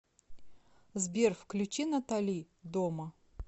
сбер включи натали дома